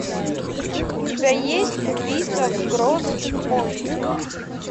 у тебя есть убийство в гросс пойнте